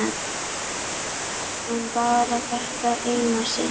En bara þetta eina sinn.